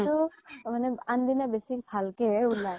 কিন্তু আন দিনা বেছি ভাল কে হে ওলাই